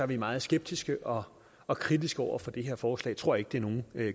vi meget skeptiske og og kritiske over for det her forslag vi tror ikke det er nogen